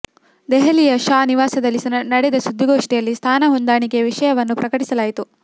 ದೆಹಲಿಯ ಶಾ ನಿವಾಸದಲ್ಲಿ ನಡೆದ ಸುದ್ದಿಗೋಷ್ಠಿಯಲ್ಲಿ ಸ್ಥಾನ ಹೊಂದಾಣಿಕೆ ವಿಷಯವನ್ನು ಪ್ರಕಟಿಸಲಾಯಿತು